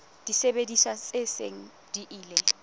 disebediswa tse seng di ile